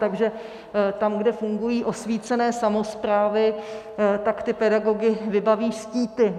Takže tam, kde fungují osvícené samosprávy, tak ty pedagogy vybaví štíty.